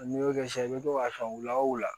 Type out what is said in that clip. N'i y'o kɛ sisan i bɛ to k'a san u la wula